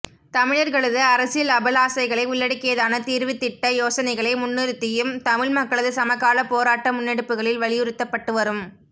தமிழர்களது அரசியல் அபிலாசைகளை உள்ளடக்கியதான தீர்வுத்திட்ட யோசனைகளை முன்னிறுத்தியும் தமிழ் மக்களது சமகால போராட்ட முன்னெடுப்புகளில் வலியுறுத்தப்பட்டுவரும்